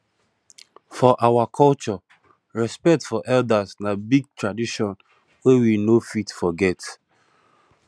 for our culture respect for elders na big tradition wey we no fit forget